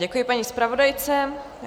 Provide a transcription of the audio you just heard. Děkuji paní zpravodajce.